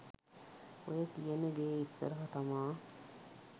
ඔය කියන ගේ ඉස්සරහ තමා